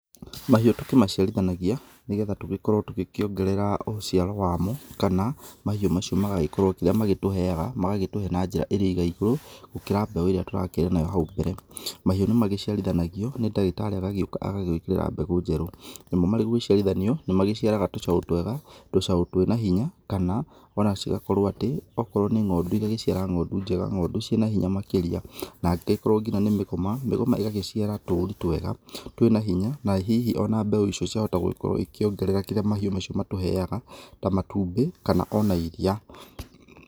Mahiũ tũkĩmaciarithanagia nĩ getha tũgĩkorwo tũgĩkĩongerera ũciaro wa mo, kana mahiũ macio magagĩkorwo kĩrĩa magĩtũheaga magagĩtũhe na njĩra ĩrĩ igaigũrũ gũkĩra mbeũ ĩrĩa tũrakĩrĩ nayo hau mbere. Mahiũ nĩ magĩciarithanagio nĩ ndagĩtarĩ agagĩũka agagũĩkĩrĩra mbegũ njerũ. Namo marĩ gũgĩciarithanio, nĩ magĩciaraga tũcaũ twega, tũcaũ twĩna hinya, kana ona cigakorwo atĩ, okorwo nĩ ng'ondu igagĩciara ng'ondu njega ng'ondu ciĩna hinya makĩria. Na angĩkorwo nginya nĩ mĩgoma, mĩgoma ĩgagĩciara tũri twega twĩna hinya na hihi ona mbeũ icio ciahota gũgĩkorwo ikĩongerera kĩrĩa mahiũ macio matũheaga ta matumbĩ kana ona iriia.